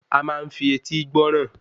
A máa ń fi etí gbọ́ràn